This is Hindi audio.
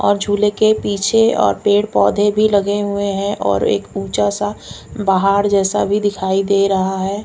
और झूले के पीछे और पेड़ पौधे भी लगे हुए हैं और एक ऊंचा सा पहाड़ जैसा भी दिखाई दे रहा है।